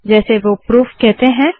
जैसे वो प्रूफ कहते है